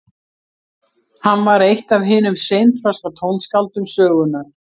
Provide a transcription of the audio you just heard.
hann var eitt af hinum seinþroska tónskáldum sögunnar